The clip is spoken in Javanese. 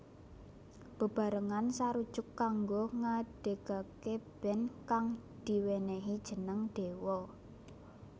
Bebarengan sarujuk kanggo ngadegaké band kang diwenehi jeneng Dewa